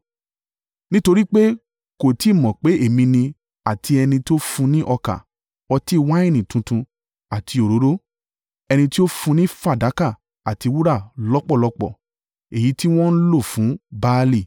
Nítorí pé kò tí ì mọ̀ pé èmi ni àti ẹni tó fún un ní ọkà, ọtí wáìnì tuntun àti òróró ẹni tí ó fún un ní fàdákà àti wúrà lọ́pọ̀lọ́pọ̀, èyí tí wọ́n lò fún Baali.